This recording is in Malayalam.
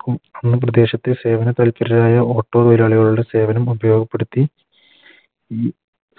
കൾക്കും സേവന താൽപ്പരരായ Auto തൊഴിലാളികളുടെ സേവനം ഉപയോഗപ്പെടുത്തി ഈ